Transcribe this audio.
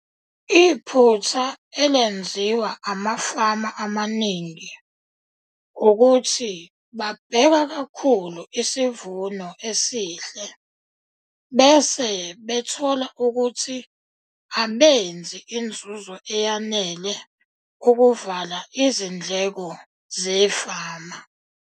Iphutha elenziwa amafama amaningi ukuthi babheka kakhulu isivuno esihle bese bethola ukuthi abenzi inzuzo eyanele ukuvala izindleko zefama.